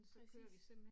Præcis